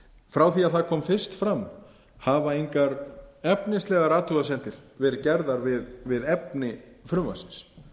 frá því að það kom fyrst fram hafa engar efnislegar athugasemdir verið gerðar við efni frumvarpsins